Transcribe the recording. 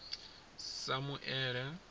samuele